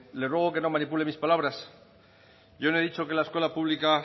le ruego que no manipule mis palabras yo no he dicho que la escuela pública